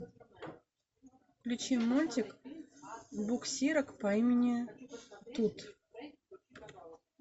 включи мультик буксирок по имени тут